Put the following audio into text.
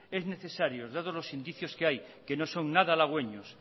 es necesario dados los indicios que hay que no son nada halagüeños